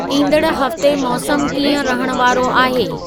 ईंदड़ हफ़्ते मौसमु कीअं रहण वारो आहे